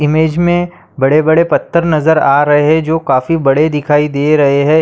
Image मे बड़े-बड़े पत्थर नजर आ रहे जो काफी बड़े दिखाई दे रहे है।